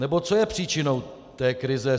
Nebo co je příčinou té krize?